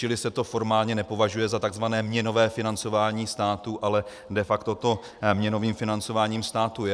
Čili se to formálně nepovažuje za tzv. měnové financování státu, ale de facto to měnovým financováním státu je.